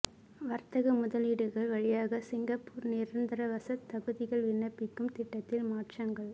வர்த்தக முதலீடுகள் வழியாக சிங்கப்பூர் நிரந்தரவாசத் தகுதிக்கு விண்ணப்பிக்கும் திட்டத்தில் மாற்றங்கள்